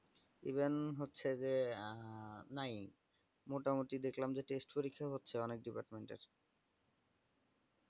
even হচ্ছে যে আ নাই মোটামুটি দেখলাম যে test পরীক্ষা হচ্ছে অনেক department র